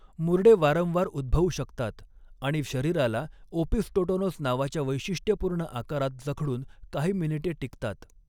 मुरडे वारंवार उद्भवू शकतात आणि शरीराला ओपिस्टोटोनोस नावाच्या वैशिष्ट्यपूर्ण आकारात जखडून काही मिनिटे टिकतात.